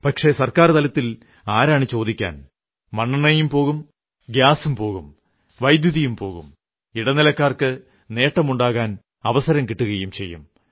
പക്ഷേ സർക്കാർ തലത്തിൽ ആരാണു ചോദിക്കാൻ മണ്ണെണ്ണയും പോകും ഗ്യാസും പോകും വൈദ്യുതിയും പോകും ഇടനിലക്കാർക്ക് നേട്ടമുണ്ടാക്കാൻ അവസരം കിട്ടുകയും ചെയ്യും